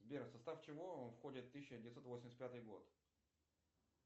сбер в состав чего входит тысяча девятьсот восемьдесят пятый год